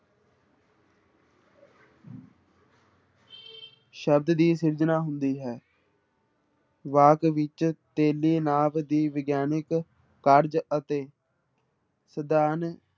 ਸ਼ਬਦ ਦੀ ਸਿਰਜਣਾ ਹੁੰਦੀ ਹੈ ਵਾਕ ਵਿੱਚ ਤੇਲੀ ਨਾਵ ਦੀ ਵਿਗਿਆਨਕ ਕਾਰਜ ਅਤੇ ਸਧਾਰਨ